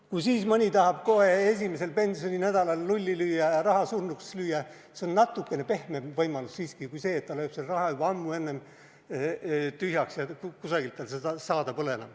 Kui siis mõni tahab kohe esimesel pensioninädalal lulli lüüa ja raha läbi lüüa, see on natukene pehmem võimalus siiski kui see, et ta lööb selle raha juba ammu enne läbi ja kusagilt tal seda saada enam pole.